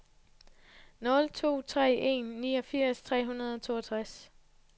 nul to tre en niogfirs tre hundrede og toogtres